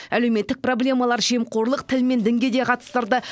әлеуметтік проблемалар жемқорлық тіл мен дінге де қатыстырды